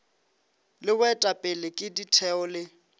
le boetapele ke ditheo le